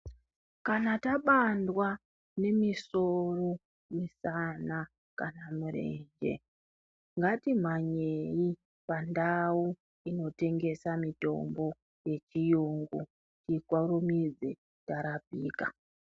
Kana tabandwa nemisoro, misana kana mirenje ngatimhanyei pandau inotengesa mitombo yechiyungu tikurumidze tarapika.